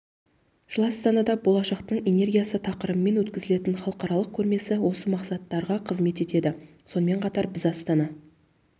жылы астанада болашақтың энергиясы тақырыбымен өткізілетін халықаралық көрмесі осы мақсаттарға қызмет етеді сонымен қатар біз астана